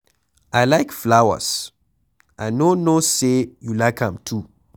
I like flowers, I no know say you like am too.